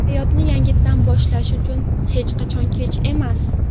Hayotni yangitdan boshlash uchun hech qachon kech emas.